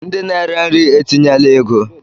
Ndị na-ere nri etinyela ego